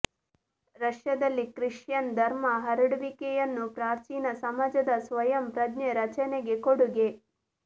ರಷ್ಯಾದಲ್ಲಿ ಕ್ರಿಶ್ಚಿಯನ್ ಧರ್ಮ ಹರಡುವಿಕೆಯನ್ನು ಪ್ರಾಚೀನ ಸಮಾಜದ ಸ್ವಯಂ ಪ್ರಜ್ಞೆ ರಚನೆಗೆ ಕೊಡುಗೆ